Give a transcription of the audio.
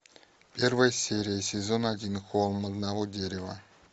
первая серия сезона один холм одного дерева